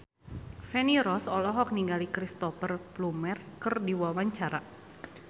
Feni Rose olohok ningali Cristhoper Plumer keur diwawancara